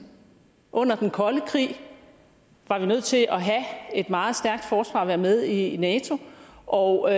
under den kolde krig var vi nødt til at have et meget stærkt forsvar og være med i nato og